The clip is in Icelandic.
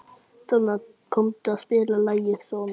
Donna, kanntu að spila lagið „Sonnetta“?